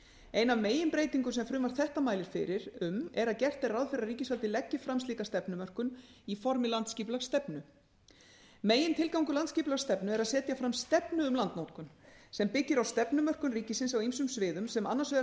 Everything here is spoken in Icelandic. ein af meginbreytingum sem frumvarp þetta mælir fyrir um er að gert er ráð fyrir að ríkisvaldið leggi fram slíka stefnumörkun í formi landsskipulagsstefna megintilgangur landsskipulagsstefnu er að setja fram stefnu um landnotkun sem byggir á stefnumörkun ríkisins á ýmsum sviðum sem annars vegar